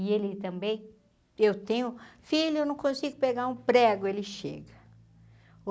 E ele também, eu tenho... Filho, eu não consigo pregar um prego, ele chega.